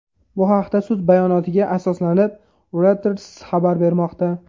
Bu haqda sud bayonotiga asoslanib, Reuters xabar bermoqda .